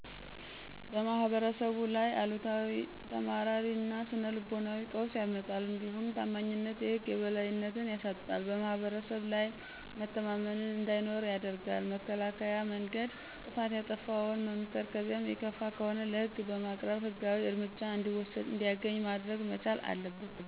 በማህበረሰቡ ላይ አሉታዊ ተማራሪ እና ስነ ልቦናዊ ቀውስ ያመጣል። እንዲሁም ታማኝነትን የህግ የበላይነትን ያሳጣል :በማህብረሰብ ላይ መተማመን እንዳይኖር ያደርጋል። መከላከያ መንገድ ጥፋት ያጠፋውን መምከር ከዚያም የከፋ ከሆነ ለህግ በማቅረብ ህጋዊ እርምት እንዲያገኝ ማድረግ መቻል አለበት።